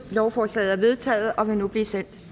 lovforslaget er vedtaget og vil nu blive sendt